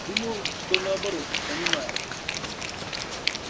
думаю что наоборот понимает